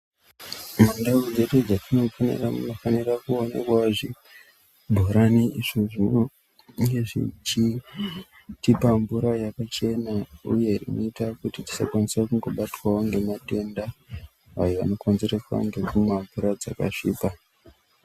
Mundau dzedu dzatinogara munofanira ku wanikwawo zvi bhorani izvo zvinonge zvechi tipa mvura yakachena uye inoita kuti tisakwanisa kungo batwawo nge matenda ayo ano konzereswa ngekumwa mvura dzaka svipa.